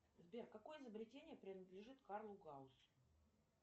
сбер какое изобретение принадлежит карлу гауссу